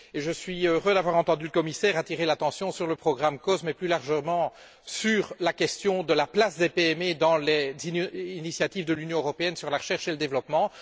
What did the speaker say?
Et je suis heureux d'avoir entendu le commissaire attirer l'attention sur le programme COSME et, plus largement, sur la question de la place des PME dans les initiatives de l'Union européenne sur la recherche et le développement.